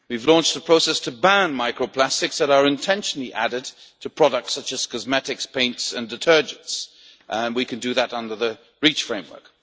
We have launched a process to ban micro plastics that are intentionally added to products such as cosmetics, paints and detergents, and we can do that under the Reach framework.